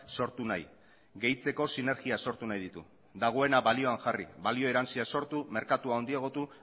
sortu nahi gehitzeko sinergia sortu nahi ditu dagoena balioan jarri balioa erantsia sortu merkatua handiagotu